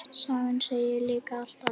Sagan segir líka allt annað.